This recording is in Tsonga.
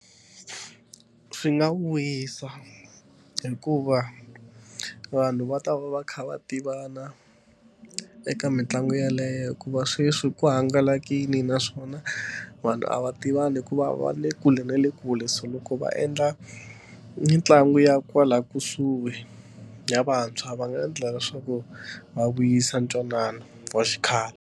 Swi nga wisa hikuva vanhu va ta va va kha va tivana eka mitlangu yeleyo hikuva sweswi ku hangalakile naswona vanhu a va tivana hi ku va va le kule na le kule so loko va endla mitlangu ya kwala kusuhi ya vantshwa va nga endla leswaku va vuyisa ntwanano wa xikhale.